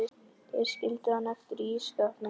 Þeir skildu hann eftir í ísskápnum.